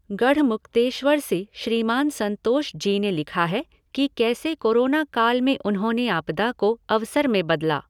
गढ़मुक्तेश्वर से श्रीमान संतोष जी ने लिखा है कि कैसे कोरोना काल में उन्होंने आपदा को अवसर में बदला।